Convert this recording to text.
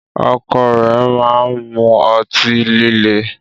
Ọkọ rẹ ma n mú ọ̀tí-lílẹ̀